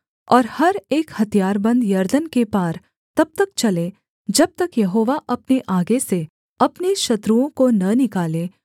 और हर एक हथियारबन्द यरदन के पार तब तक चले जब तक यहोवा अपने आगे से अपने शत्रुओं को न निकाले